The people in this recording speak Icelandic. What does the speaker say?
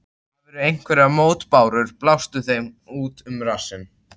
Hafirðu einhverjar mótbárur, blástu þeim þá út um rassinn.